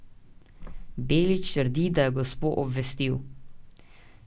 Belič trdi, da je gospo obvestil.